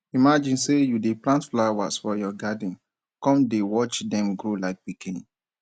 imagine sey you dey plant flower for your garden come dey watch dem grow like pikin